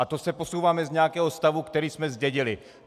A to se posouváme z nějakého stavu, který jsme zdědili.